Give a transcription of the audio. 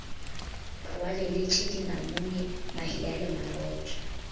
rwaleletše dinamune mahea le marotho